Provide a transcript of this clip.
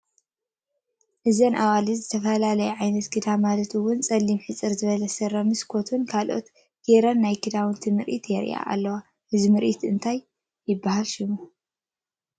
እዘን ኣዋልድ ዝተፈላለየ ዓይነት ክዳን ማለት እዉን ፀሊም ሕፅር ዝበለ ስረ ምስ ኮቱን ካልኦትን ጌረን ናይ ክዳነን ምርኢት የርእያ ኣልዋ ።እዚ ምርኢት እንታይ ይበሃል ሽሙ ?